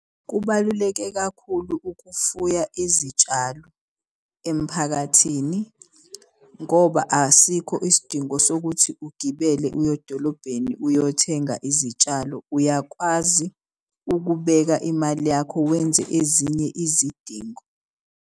Kubaluleke kakhulu ukufuya izitshalo emphakathini ngoba asikho isidingo sokuthi ugibele uyodolobheni uyothenga izitshalo. Uyakwazi ukubeka imali yakho wenze ezinye izidingo.